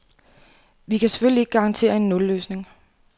Vi kan selvfølgelig ikke garantere en nulløsning.